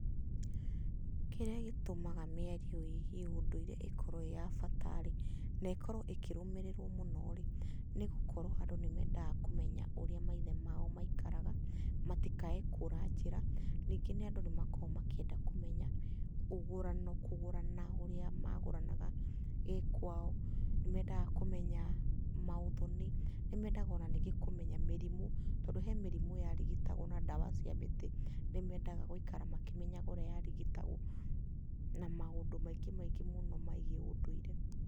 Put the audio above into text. Kĩrĩa gĩtũmaga mĩario ĩgiĩ ũndũire ĩkorwo ĩ ya bata rĩ, na ĩkorwo ĩkĩrũmĩrĩrwo mũno rĩ, nĩ gũkorwo andũ nĩ mendaga kũmenya ũrĩa maithe mao maikaraga, matikae kũra njĩra. Ningĩ andũ nĩ makoragwo makĩenda kũmenya ũgũrano, kũgũrana ũrĩa magũranaga gĩkwao, nĩ mendaga kũmenya maũthoni, nĩ mendaga o na ningĩ kũmenya mĩrimũ tondũ he mĩrimũ yarigitagwo na ndawa cia mĩtĩ, nĩ mendaga gũikara makĩmenyaga ũrĩa yarigitagwo, na maũndũ maingĩ maingĩ mũno megiĩ ũndũire.